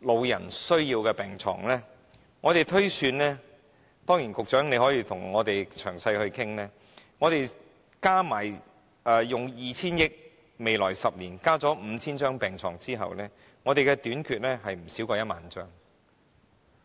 包括"長者需要的病床"，我們推算——當然，局長可以與我們詳細討論——加上用 2,000 億元在未來10年增加 5,000 張病床後，病床仍會短缺不少於1萬張。